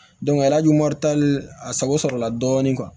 arajo a sago sɔrɔ la dɔɔni